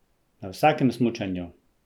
Na vsakem smučanju!